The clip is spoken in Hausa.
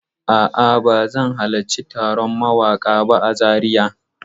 A'a, ba zan halarci taron mawaƙa ba a Zariya.